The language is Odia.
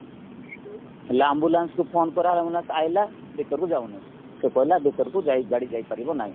ହେଲେ ambulanceକୁ ଫୋନ କରାହେଲା ambulance ଆସିଲା ଭିତରକୁ ଯାଉନି ସେ କହିଲା ଭିତରକୁ ଯାଇ ଗାଡି ଯାଇପାରିବ ନାହିଁ